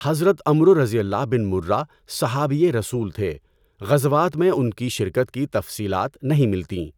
حضرت Amr bin Murrah صحابیِ رسول تھے، غزوات میں اُن کی شرکت کی تفصیلات نہیں ملتیں۔